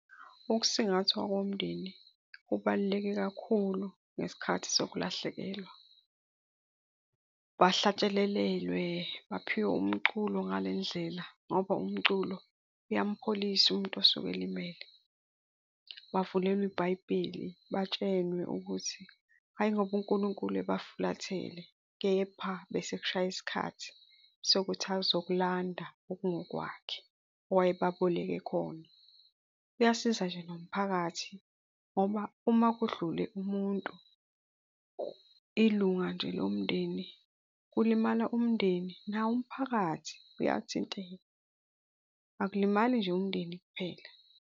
Ukusingathwa komndeni kubaluleke kakhulu ngesikhathi sokulahlekelwa. Bahlatshelelelwe, baphiwe umculo ngale ndlela ngoba umculo uyampholisa umuntu osuke elimele. Bavulelwa ibhayibheli, batshelwe ukuthi hhayi, ngoba uNkulunkulu ebafulatele kepha bese kushaye isikhathi sokuthi azokulanda okungokwakhe owayebaboleke khona. Kuyasiza nje nomphakathi ngoba uma kudlule umuntu ilunga nje lomndeni kulimala umndeni nawo umphakathi uyathinteka, akulimali nje umndeni kuphela.